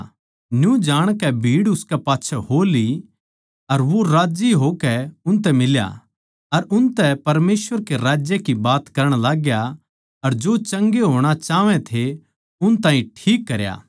न्यू जाणकै भीड़ उसकै पाच्छै हो ली अर वो राज्जी होकै उनतै फेट्या अर उनतै परमेसवर कै राज्य की बात करण लाग्या अर जो चंगे होणा चाहवै थे उन ताहीं ठीक करया